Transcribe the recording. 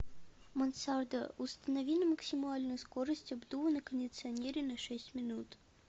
мансарда установи на максимальную скорость обдува на кондиционере на шесть минут